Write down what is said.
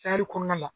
kɔnɔna la